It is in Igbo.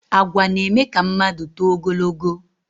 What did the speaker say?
Àgwà na- eme ka mmadụ tóó ogologó